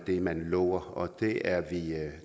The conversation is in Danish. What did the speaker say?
det man lover og det er vi